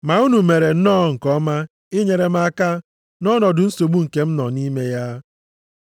Ma unu mere nnọọ nke ọma inyere m aka nʼọnọdụ nsogbu nke m nọ nʼime ya.